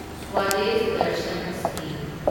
Swadesh Darshan scheme